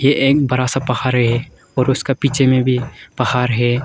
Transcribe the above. एक बड़ा सा पहार और उसका पीछे में भी पहार है।